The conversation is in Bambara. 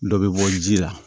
Dɔ bɛ bɔ ji la